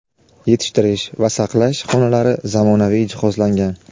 yetishtirish va saqlash xonalari zamonaviy jihozlangan.